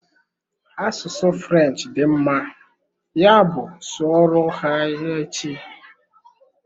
Asụsụ French dị mma, ya bụ sụọ ro ha ya echi!